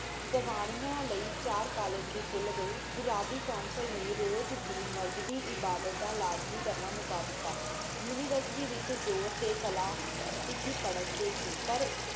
ਸਵਾਨਿਯਾ ਲਈ ਚਾਰ ਕਾਲਜ ਵੀ ਖੁਲ ਗਏ council ਨੀ ਰੋਜ ਦੀ ਮਜ਼ਹਬੀ ਇਬਾਦਤ ਦਾ ਲਾਜ਼ਮੀ ਕਰਨਾ ਮੁਕਾ ਦਿਤਾ university ਵਿਚ ਜੋਰ ਤੇ ਕਲਾ ਲਿਖੀ ਪਰ੍ਹਤ ਤੇ ਸੀ